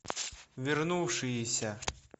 вернувшиеся